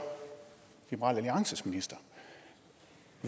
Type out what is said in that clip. liberal alliances minister